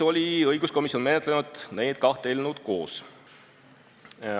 Õiguskomisjon on menetlenud neid kahte eelnõu koos.